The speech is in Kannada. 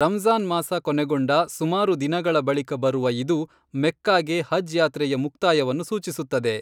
ರಂಜಾನ್ ಮಾಸ ಕೊನೆಗೊಂಡ ಸುಮಾರು ದಿನಗಳ ಬಳಿಕ ಬರುವ ಇದು ಮೆಕ್ಕಾಗೆ ಹಜ್ ಯಾತ್ರೆಯ ಮುಕ್ತಾಯವನ್ನು ಸೂಚಿಸುತ್ತದೆ